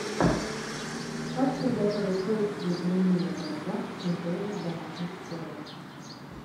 как приготовить толстые блины на дрожжах с нутеллой в домашних условиях